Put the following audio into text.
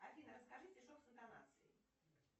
афина расскажи стишок с интонацией